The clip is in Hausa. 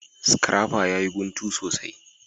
Scrapper ya yi guntu sosai.